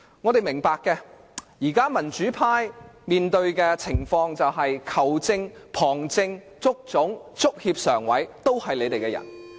我們明白的，民主派現在面對的情況是球證、旁證、足總、足協常委皆是你們的人。